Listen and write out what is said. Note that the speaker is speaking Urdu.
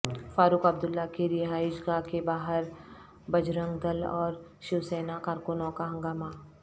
فاروق عبداللہ کی رہائش گاہ کے باہر بجرنگ دل اور شیو سینا کارکنوں کا ہنگامہ